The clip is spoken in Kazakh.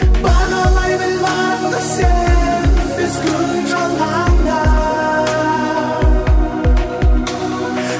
бағалай біл барыңды сен бес күн жалғанда